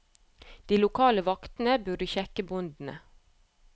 De lokale vaktene burde sjekke båndene.